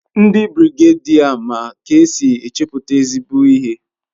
Ndi birigedia ma k'esin echeputa ezigbo ihe